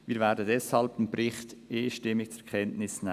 Wir werden deshalb den Bericht einstimmig zur Kenntnis nehmen.